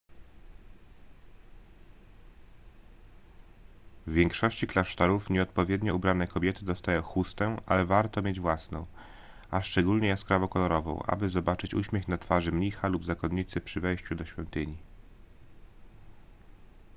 w większości klasztorów nieodpowiednio ubrane kobiety dostają chustę ale warto mieć własną a szczególnie jaskrawo kolorową aby zobaczyć uśmiech na twarzy mnicha lub zakonnicy przy wejściu do świątyni